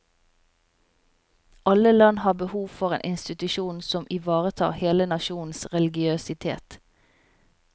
Alle land har behov for en institusjon som ivaretar hele nasjonens religiøsitet.